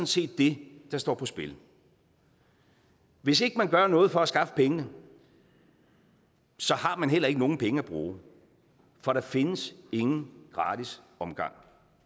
set det der står på spil hvis ikke man gør noget for at skaffe pengene har man heller ikke nogen penge at bruge for der findes ingen gratis omgang